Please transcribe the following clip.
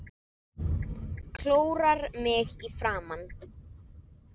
Klórar mig í framan.